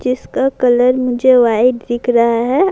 جسکا colour مجھے white دیکھ رہا ہے۔